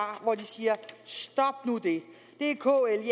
hvor de siger stop nu det det er kl